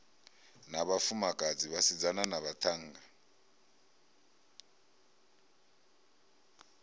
na vhafumakadzi vhasidzana na vhaṱhannga